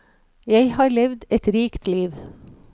Jeg har levd et rikt liv.